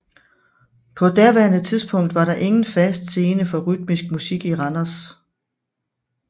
På daværende tidspunkt var der ingen fast scene for rytmisk musik i Randers